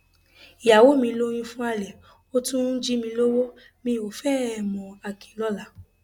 ìyàwó mi lóyún fún àlè ó tún ń jí mi lọwọ mi ò fẹ ẹ mọakinlọla